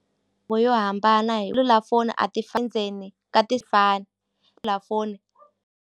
Vo yo hambana hi a ti endzeni ka ti fani .